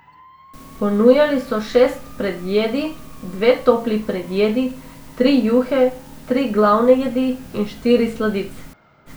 Ponujali so šest predjedi, dve topli predjedi, tri juhe, tri glavne jedi in štiri sladice.